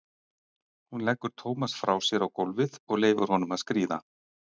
Hún leggur Tómas frá sér á gólfið og leyfir honum að skríða.